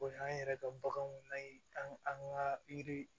O y'an yɛrɛ ka baganw layi an ga an ga yiri